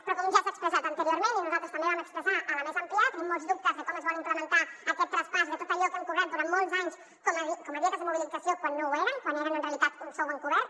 però com ja s’ha expressat anteriorment i nosaltres també ho vam expressar a la mesa ampliada tenim molts dubtes de com es vol implementar aquest traspàs de tot allò que hem cobrat durant molts anys com a dietes de mobilització quan no ho eren quan eren en realitat un sou encobert